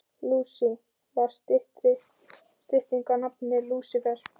Lúsi var stytting á nafninu Lúsífer.